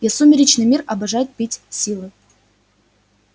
и сумеречный мир обожает пить силы